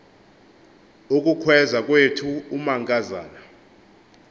ukukhweza kwethu umankazana